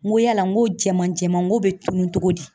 N ko yala n ko jɛman jɛman ngo be tunun cogo di?